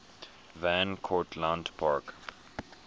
van cortlandt park